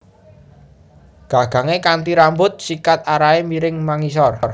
Gagangé kanthi rambut sikat arahé miring mangisor